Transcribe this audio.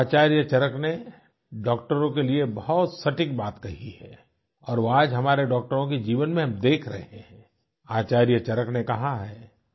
आचार्य चरक ने डाक्टरों के लिए बहुत सटीक बात कही है और आज वो हम अपने डाक्टरों के जीवन में हम देख रहे हैं आचार्य चरक ने कहा है